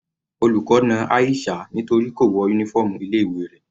Olùkọ́ na Aisha nítorí kò wọ uniform ilé ìwé rẹ̀.